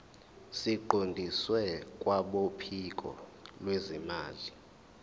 siqondiswe kwabophiko lwezimali